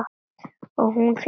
Og hún fékk hana.